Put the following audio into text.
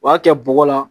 O y'a kɛ bɔgɔ la